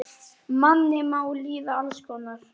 Manni má líða alls konar.